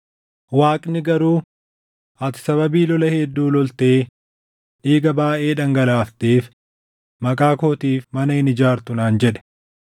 Waaqni garuu, ‘Ati sababii lola hedduu loltee dhiiga baayʼee dhangalaafteef maqaa kootiif mana hin ijaartu’ naan jedhe.